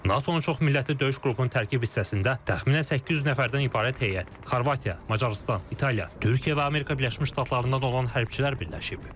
NATO-nun çoxmillətli döyüş qrupunun tərkib hissəsində təxminən 800 nəfərdən ibarət heyət, Xorvatiya, Macarıstan, İtaliya, Türkiyə və Amerika Birləşmiş Ştatlarından olan hərbiçilər birləşib.